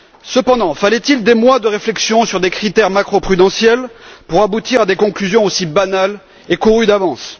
Cependant, fallait il des mois de réflexion sur des critères macroprudentiels pour aboutir à des conclusions aussi banales et courues d'avance?